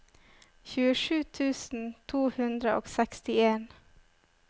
tjuesju tusen to hundre og sekstien